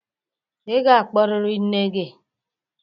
Ị ga-akpọrịrị nne gị.